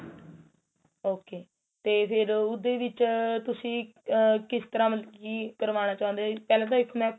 ok ਤੇ ਫੇਰ ਉਸ ਦੇ ਵਿੱਚ ਤੁਸੀਂ ਆ ਕਿਸ ਤਰਾਂ ਕੀ ਮਤਲਬ ਕੀ ਕਰਵਾਣਾ ਚਾਉਂਦੇ ਓ ਪਹਿਲਾਂ ਤਾਂ ਇੱਕ ਮੈਂ